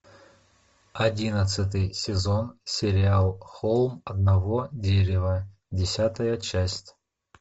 одиннадцатый сезон сериал холм одного дерева десятая часть